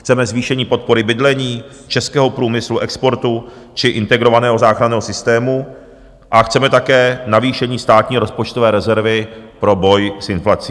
Chceme zvýšení podpory bydlení, českého průmyslu, exportu či Integrovaného záchranného systému a chceme také navýšení státní rozpočtové rezervy pro boj s inflací.